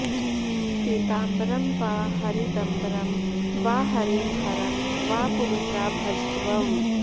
पीताम्बरं वा हरिदम्बरं वा हरिं हरं वा पुरुषा भजध्वम्